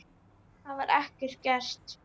Það var ekki gert.